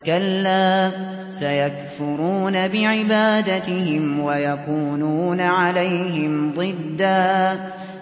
كَلَّا ۚ سَيَكْفُرُونَ بِعِبَادَتِهِمْ وَيَكُونُونَ عَلَيْهِمْ ضِدًّا